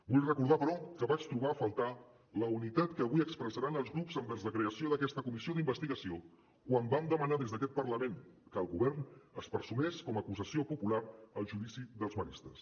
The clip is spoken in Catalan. vull recordar però que vaig trobar a faltar la unitat que avui expressaran els grups envers la creació d’aquesta comissió d’investigació quan vam demanar des d’aquest parlament que el govern es personés com a acusació popular al judici dels maristes